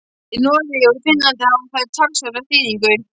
Í Noregi og í Finnlandi hafa þær talsverða þýðingu.